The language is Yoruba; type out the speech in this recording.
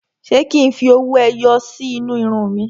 Ṣé kí n fi owó ẹyọ sí inú irun mi?